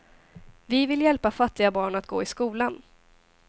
Vi vill hjälpa fattiga barn att gå i skolan.